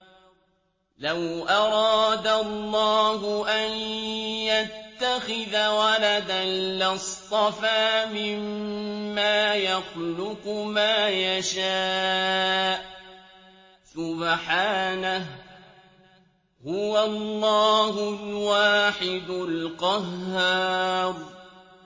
لَّوْ أَرَادَ اللَّهُ أَن يَتَّخِذَ وَلَدًا لَّاصْطَفَىٰ مِمَّا يَخْلُقُ مَا يَشَاءُ ۚ سُبْحَانَهُ ۖ هُوَ اللَّهُ الْوَاحِدُ الْقَهَّارُ